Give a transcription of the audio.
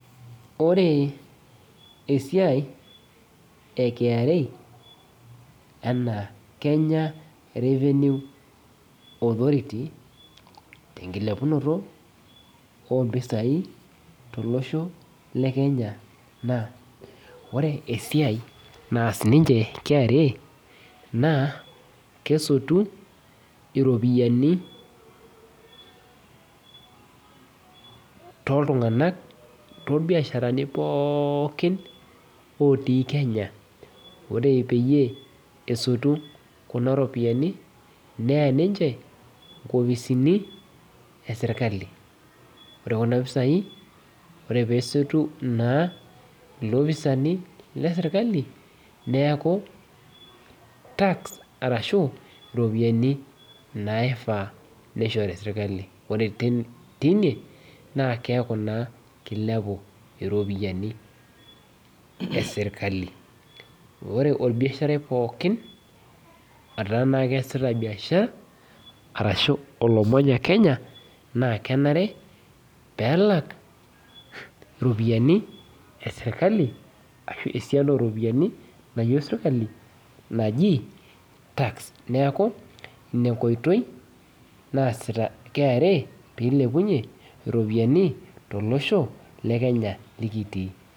Ore esiai e KRA enaa kenya revenue authority tenkilepunoto ompisai tolosho le kenya naa ore esiai naas ninche KRA naa kesotu iropiyianitoltung'anak torbiasharani pookin otii kenya ore peyie esotu kuna ropiyiani neya ninche nkopisini esirkali ore kuna pisai ore peesotu naa ilopisani lesirkali neaku tax arashu iropiyiani naifaa nishori sirkali ore te teine naa keeku naa kilepu iropiyiani esirkali ore orbiasharai pookin otaa naa keasita biashara arashu olomanya kenya naa kenare peelak iropiyiani esirkali ashu esian oropiani nayieu sirkali naji tax neeku inenkoitoi naasita KRA peilepunyie iropiyiani tolosho le kenya likitii.